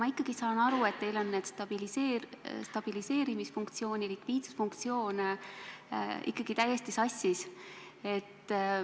Ma ikkagi saan aru, et teil on stabiliseerimisfunktsioon ja likviidsusfunktsioon täiesti sassis.